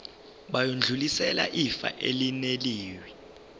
bayodlulisela ifa elinewili